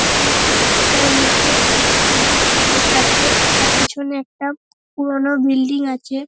একটা মাঠ যার মধ্যে অনেক সবুজ ঘাস আছে। যার পিছনে একটা পুরনো বিল্ডিং আছে ।